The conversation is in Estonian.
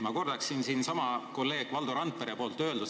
Ma kordaksin kolleeg Valdo Randpere äsja öeldud mõtet.